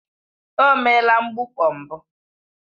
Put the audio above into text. O meela mgbukpọ mbụ